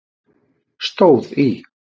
stóð í